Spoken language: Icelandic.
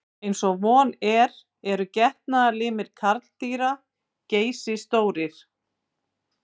Eins og von er eru getnaðarlimir karldýra geysistórir.